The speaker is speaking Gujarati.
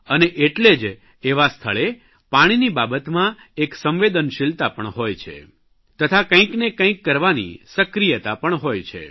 અને એટલે જ એવા સ્થળે પાણીની બાબતમાં એક સંવેદનશીલતા પણ હોય છે તથા કંઇને કંઇક કરવાની સક્રિયતા પણ હોય છે